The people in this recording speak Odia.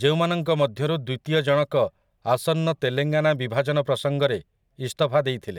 ଯେଉଁମାନଙ୍କ ମଧ୍ୟରୁ ଦ୍ୱିତୀୟ ଜଣକ ଆସନ୍ନ ତେଲେଙ୍ଗାନା ବିଭାଜନ ପ୍ରସଙ୍ଗରେ ଇସ୍ତଫା ଦେଇଥିଲେ ।